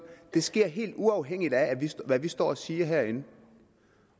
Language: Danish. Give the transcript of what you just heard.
det sker helt uafhængigt af hvad vi står og siger herinde